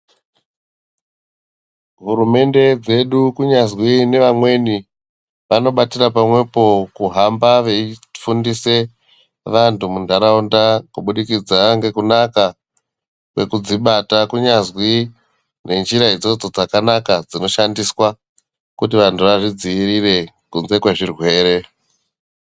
Hurumende dzedu kunyazwi nevamweni, vanobatira pamwepo kuhamba veifundise vantu muntaraunda kubudikidza ngekunaka kwekudzibata kunyazwi ngenjira idzodzo dzakanaka dzinoshandiswa kuti vantu vazvidzivirire kunze kwezvirwere.